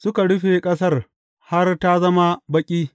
Suka rufe ƙasar har ta zama baƙi.